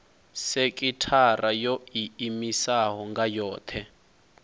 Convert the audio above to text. sekithara yo iimisaho nga yohe